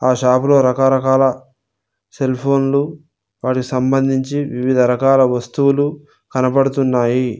ఆ షాపులో రకరకాల సెల్ ఫోన్లు వాటికి సంబంధించి వివిధ రకాల వస్తువులు కనబడుతున్నాయి.